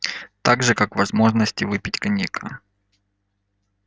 так же как возможности выпить коньяка